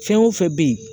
Fɛn o fɛn bɛ yen